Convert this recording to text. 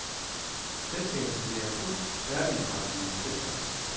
Selskabet leverer fuld færdigindretning af hotelværelser.